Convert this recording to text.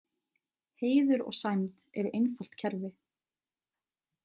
Heiður og sæmd eru einfalt kerfi.